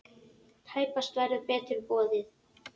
Tæpast verður betur boðið!